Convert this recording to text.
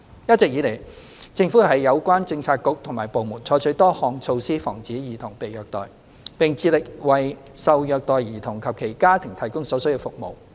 一直以來，政府有關政策局和部門採取多項措施防止兒童被虐待，並致力為受虐待兒童及其家庭提供所需服務。